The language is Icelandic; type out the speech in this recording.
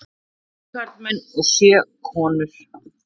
Átta karlmenn og sjö konur.